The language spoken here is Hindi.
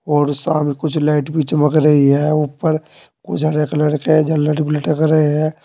और सामने कुछ लाइट भी चमक रही है ऊपर कुछ हरे कलर के लटक रहे है।